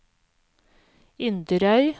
Inderøy